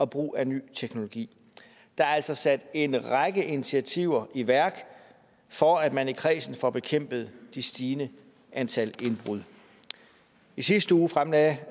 brug af ny teknologi der er altså sat en række initiativer i værk for at man i kredsen får bekæmpet det stigende antal indbrud i sidste uge fremlagde